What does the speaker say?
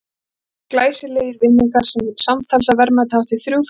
Það voru tólf glæsilegir vinningar, samtals að verðmæti hátt í þrjú þúsund krónur.